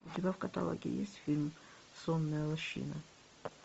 у тебя в каталоге есть фильм сонная лощина